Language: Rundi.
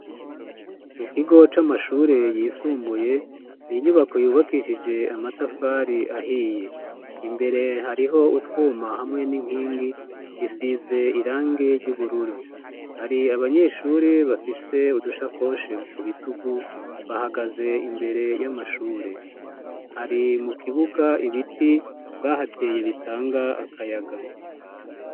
Mukigo c'amashure yisumbuye n'inyubako yubakishije amatafari ahiye imbere hariho utwuma hamwe n'inkingi bisize irangi ry'ubururu. Hari abanyeshuri bafise udushakoshe kubitugu bahagaze imbere y'amashure. Hari mukibuga ibiti bahateye bitanga akayaga.